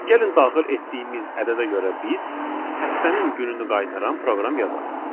Gəlin daxil etdiyimiz ədədə görə biz həftənin gününü qaytaran proqram yazaq.